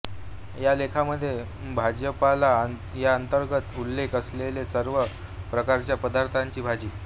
या लेखामध्ये भाजीपाला याअंतर्गत उल्लेख असलेल्या सर्व प्रकारच्या पदार्थांची भाजी